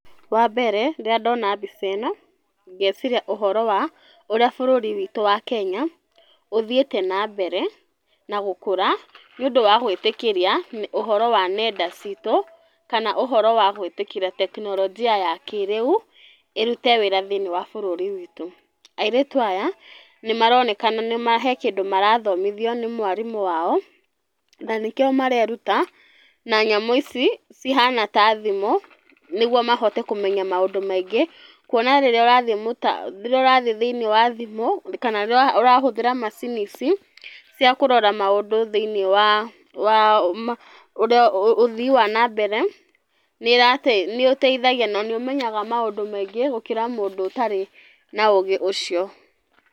Wa mbere, rĩrĩa ndona mbica ĩno ngeciria ũhoro wa ũrĩa bũrũri witũ wa Kenya ũthiĩte na mbere, na gũkũra nĩũndũ wa gwĩtĩkĩria ũhoro wa nenda citũ, kana ũhoro wa gwĩtĩkĩra tekinoronjia ya kĩrĩu, ĩrute wĩra thĩinĩ wa bũrũri witũ. Airĩtu aya, nĩmaronekana me hena kĩndũ arathomithio nĩ mwarimũ wao, na nĩkĩo mareruta na nyamũ ici cihana ta thimũ, nĩguo mahote kũmenya maũndũ maingĩ, kuona rĩrĩa ũrathiĩ rĩrĩa, ũrathiĩ thĩinĩ wa thimũ kana rĩrĩa ũrahũthĩra macini ici cia kũrora maũndũ thĩinĩ wa wa ũrĩa ũthii wa na mbere, nĩ ũteithagia na nĩ ũmenyaga maũndũ maingĩ gũkĩra mũndũ ũtarĩ na ũgĩ ũcio.